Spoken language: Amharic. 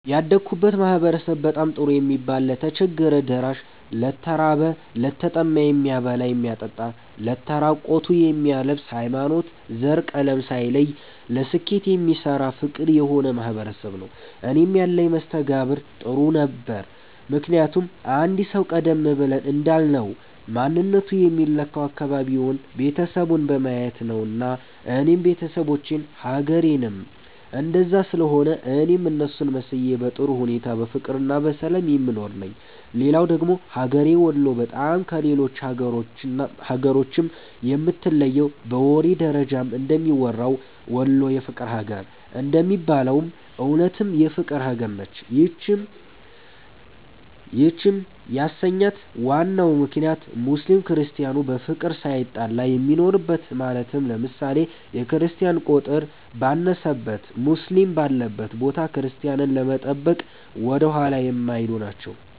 ያደግሁበት ማህበረሰብ በጣም ጥሩ የሚባል ለተቸገረ ደራሽ፣ ለተራበ፣ ለተጠማ የሚያበላ የሚያጠጣ ለተራቆቱ የሚያለብስ፣ ሀይማኖት፣ ዘር፣ ቀለም ሳይለይ ለስኬት የሚሰራ ፍቅር የሆነ ማህበረሰብ ነዉ። እኔም ያለኝ መስተጋብር ጥሩ ነበረ ምክንያቱም አንድ ሰዉ ቀደም ብለን እንዳልነዉ ማንነቱ የሚለካዉ አካባቢዉን፣ ቤተሰቡን በማየት ነዉና እኔም ቤተሰቦቼም ሀገሬዉም እንደዛ ስለሆነ እኔም እነሱን መስዬ በጥሩ ሁኔታ በፍቅርና በሰላም የምኖር ነኝ። ሌላዉ ደግሞ ሀገሬ ወሎ በጣም ከሌሎች ሀገራቶችም የምትለየዉ በወሬ ደረጃም እንደሚወራዉ "ወሎ የፍቅር ሀገር" እንደሚባለዉም እዉነትም የፍቅር ሀገር ነች ይህንም ያሰኛት ዋናው ምክንያት ሙስሊም ክርስቲያኑ በፍቅር ሳይጣላ የሚኖርበት ማለትም ለምሳሌ፦ የክርስቲያን ቁጥር ባነሰበት ሙስሊም ባለበት ቦታ ቤተክርስቲያንን ለመጠበቅ ወደኋላ የማይሉ ናቸዉ።